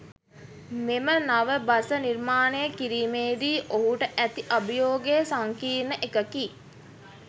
මෙම නව බස නිර්මාණය කිරීමේදී ඔහුට ඇති අභියෝගය සංකීර්ණ එකකි.